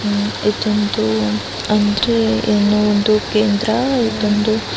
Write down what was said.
ಇದು ಒಂದು ಅಂದ್ರೆ ಏನೋ ಒಂದು ಕೇಂದ್ರ ಏಕೆಂದರೆ --